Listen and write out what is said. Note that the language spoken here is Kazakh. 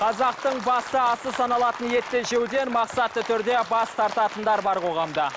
қазақтың басты асы саналатын мақсатты түрде бас тартатындар бар қоғамда